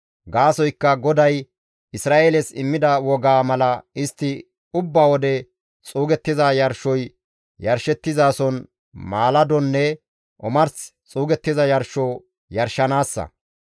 Gaasoykka GODAY Isra7eeles immida wogaa mala istti ubba wode xuugettiza yarshoy yarshettizason maaladonne omars xuugettiza yarsho yarshanaassa.